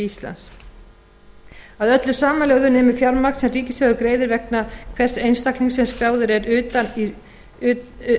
íslands að öllu samanlögðu nemur fjármagn sem ríkissjóður greiðir vegna hvers einstaklings sem skráður er utan